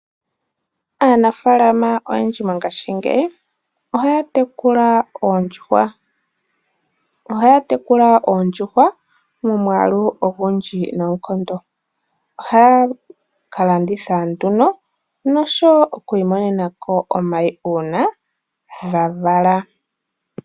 Aanafalama oyendji mongashingeyi, ohaya tekula oondjuhwa. Ohaya tekula oondjuhwa momwaalu ogundji noonkondo. Ohaya kalanditha nduno, noshowo okwiimonenako omayi, uuna dhavala.